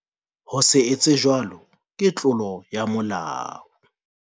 Ho se etse jwalo ke tlolo ya molao.